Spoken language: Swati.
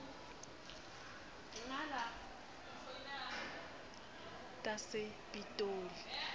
tasepitoli